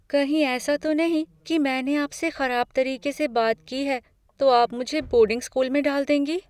कहीं ऐसा तो नहीं कि मैंने आपसे खराब तरीके से बात की है, तो आप मुझे बोर्डिंग स्कूल में डाल देंगी?